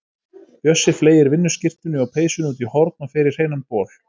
Bjössi fleygir vinnuskyrtunni og peysunni út í horn og fer í hreinan bol.